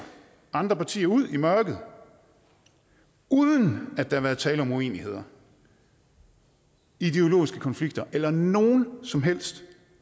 andre partier ud i mørket uden at der har været tale om uenigheder ideologiske konflikter eller nogen som helst